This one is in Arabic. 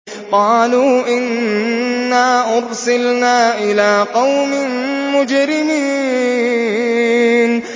قَالُوا إِنَّا أُرْسِلْنَا إِلَىٰ قَوْمٍ مُّجْرِمِينَ